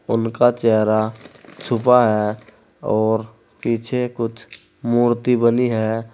उनका चेहरा छुपा है और पीछे कुछ मूर्ति बनी है।